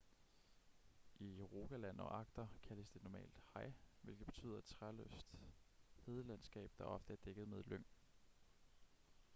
i rogaland og agder kaldes de normalt hei hvilket betyder et træløst hedelandskab der ofte er dækket med lyng